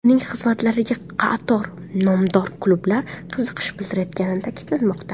Uning xizmatlariga qator nomdor klublar qiziqish bildirayotgani ta’kidlanmoqda.